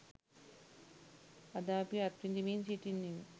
අද අපි අත්විඳිමින් සිටින්නෙමු.